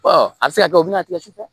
a bɛ se ka kɛ o bɛna tigɛ sufɛ